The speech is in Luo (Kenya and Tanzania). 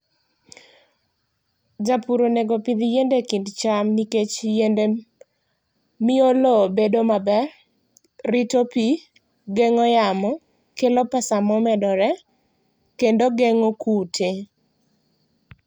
Japur onego opidh yiende e kind cham nikech yiende miyo loo bedo maber, rito pi, geng'o yamo, kelo pesa ma omedore kendo geng'o kute.